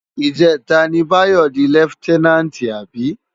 Ijètá ni Bayo di lèftènánti abi?